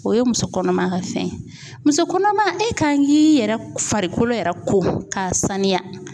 O ye muso kɔnɔma ka fɛn ye muso kɔnɔma e ka k'i yɛrɛ farikolo yɛrɛ ko k'a sanuya.